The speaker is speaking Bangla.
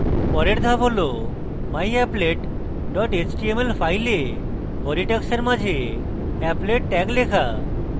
পরের ধাপ হল myapplet dot html file body tags মাঝে applet tag লেখা